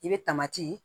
I bɛ taama ci